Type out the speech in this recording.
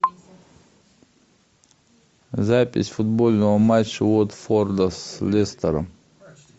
запись футбольного матча уотфорда с лестером